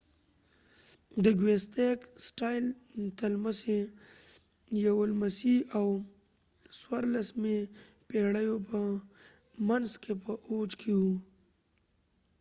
د ګوېتیک سټایل د لسمي یوولسمې او 14مې پيړیو په منځ کې په اوج کې وو